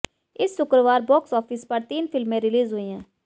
इस शुक्रवार box office पर तीन फिल्में रिलीज हुई हैं